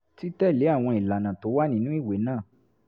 títẹ̀lé àwọn ìlànà tó wà nínú ìwé náà